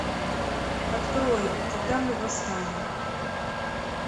открой когда мы восстанем